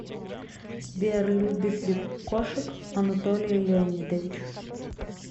сбер любит ли кошек анатолий леонидович